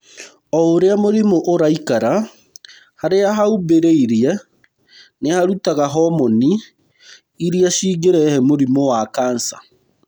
O ũrĩa mũrimũ ũraikara, harĩa haumbĩrĩire nĩ harutaga homoni iria cingĩrehe mũrimũ wa kanca.